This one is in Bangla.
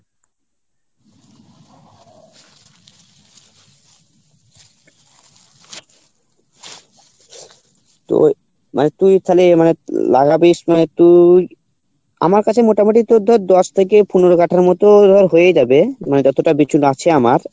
তো মানে তুই ওখানে আমার কাছে মোটামটি তোর ধর দশ থেকে পনেরো কাঠার মতো ধর হয়ে যাবে আছে আমার